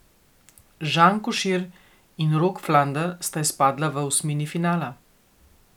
Žan Košir in Rok Flander sta izpadla v osmini finala.